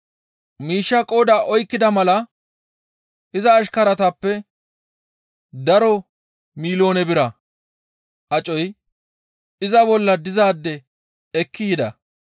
Miishshaa qooda oykkida mala iza ashkaratappe daro miloone bira acoy iza bolla dizaade ekki yida.